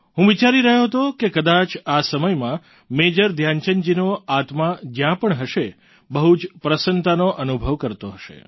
હું વિચારી રહ્યો હતો કે કદાચ આ સમયમાં મેજર ધ્યાનચંદજીનો આત્મા જ્યાં પણ હશે બહુ જ પ્રસન્નતાનો અનુભવ કરતો હશે